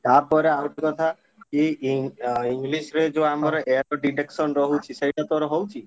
ତାପରେ ଆଉ ଗୋଟେ କଥା କି ~ଇଂ English ବି ଯୋଉ ଆମର error detection ରହୁଛି ସେଇଟା ତୋର ହଉଛି?